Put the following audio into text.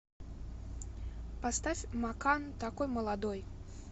поставь макан такой молодой